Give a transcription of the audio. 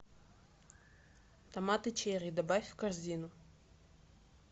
томаты черри добавь в корзину